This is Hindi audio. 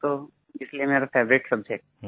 है तो इसलिए मेरा फेवराइट सब्जेक्ट